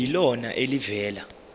kube yilona elivela